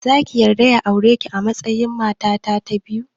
Zaki yarda ya aureki a matsayin mata ta biyu?